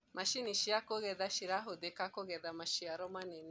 macinĩ cia kugetha cirahuthika kugetha maciaro manene